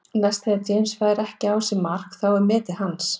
Næst þegar James fær ekki á sig mark þá er metið hans.